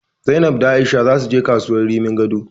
Zainab da A'isha zasu je kasuwar Rimin Gado.